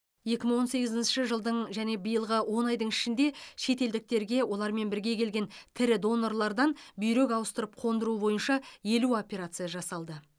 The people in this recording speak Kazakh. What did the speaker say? екі мың он сегізінші жылдың және биылғы он айдың ішінде шетелдіктерге олармен бірге келген тірі донорлардан бүйрек ауыстырып қондыру бойынша елу операция жасалды